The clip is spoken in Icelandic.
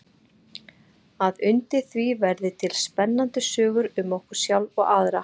Að undir því verði til spennandi sögur um okkur sjálf og aðra.